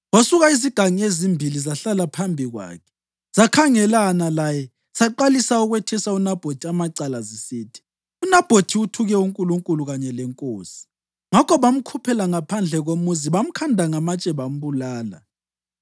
Kwasuka izigangi ezimbili zahlala phambi kwakhe zakhangelana laye zaqalisa ukwethesa uNabhothi amacala, zisithi, “UNabhothi uthuke uNkulunkulu kanye lenkosi.” Ngakho bamkhuphela ngaphandle komuzi bamkhanda ngamatshe bambulala.